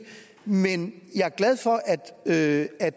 men jeg er glad for at at